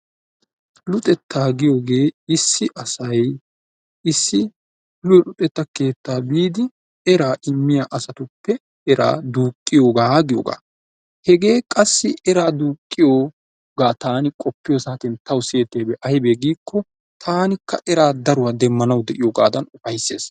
Luxettaa giyoogee issi asay issi luxetta keettaa biidi eraa immiya asatuppe eraa duuqqiyogaa giyogaa. Hegee qassi eraa duuqqiyogaa taani qoppiyo saatiyan tawu siyettiyabi ayibee giikko taanikka eraa daruwa demmanawu diyogaadan ufayissees.